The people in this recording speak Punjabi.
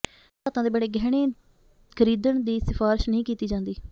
ਕੀਮਤੀ ਧਾਤਾਂ ਦੇ ਬਣੇ ਗਹਿਣੇ ਖਰੀਦਣ ਦੀ ਸਿਫ਼ਾਰਿਸ਼ ਨਹੀਂ ਕੀਤੀ ਜਾਂਦੀ